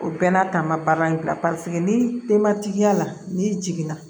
O bɛɛ n'a ta n ma baara in bila ni denmatigiya la n'i jiginna